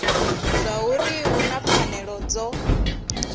zwauri hu na pfanelo dzo